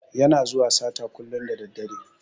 Yana zuwa sata kullun da daddare.